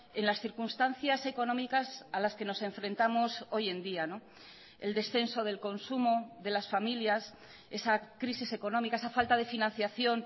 en las circunstancias económicas a las que nos enfrentamos hoy en día el descenso del consumo de las familias esa crisis económica esa falta de financiación